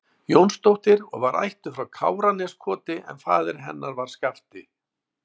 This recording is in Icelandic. Jónsdóttir og var ættuð frá Káraneskoti en faðir hennar var Skafti